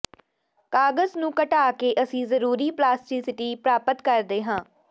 ਕਾਗਜ ਨੂੰ ਘਟਾ ਕੇ ਅਸੀਂ ਜ਼ਰੂਰੀ ਪਲਾਸਟਿਟੀ ਪ੍ਰਾਪਤ ਕਰਦੇ ਹਾਂ